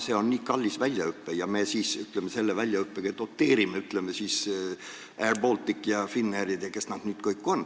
See on kallis väljaõpe ja ütleme nii, et me selle väljaõppega doteerime airBalticut, Finnairi ja kes nad nüüd kõik on.